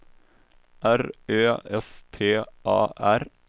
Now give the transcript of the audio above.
R Ö S T A R